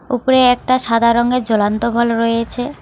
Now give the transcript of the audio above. ওপরে একটা সাদা রঙের জ্বলন্ত বল রয়েছে।